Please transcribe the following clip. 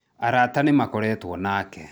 Arata nĩmakoretwo nake